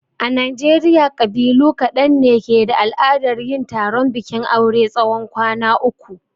A najeriya ƙabilu ƙadan ne ke da al'adar yin taron bikin aure tsawon kwan uku.